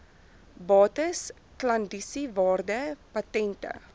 bates klandisiewaarde patente